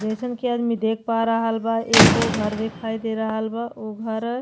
जइसन कि आदमी देख पा रहल बा एगो घर दिखाई दे रहल बा। ओ घर --